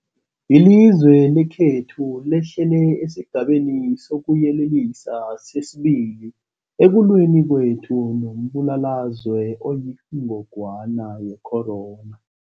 Ilizwe lekhethu lehlele esiGabeni sokuYelelisa sesi-2 ekulweni kwethu nombulalazwe oyingogwana ye-corona.